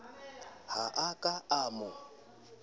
ha a ka a mo